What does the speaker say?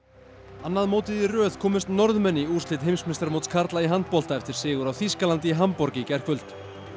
annað mótið í röð komust Norðmenn í úrslit karla í handbolta eftir sigur á Þýskalandi í Hamborg í gærkvöld